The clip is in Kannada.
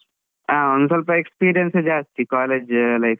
ಆ ಒಂದ್ ಸ್ವಲ್ಪ experience ಜಾಸ್ತಿ college life ಅಲ್ಲಿ.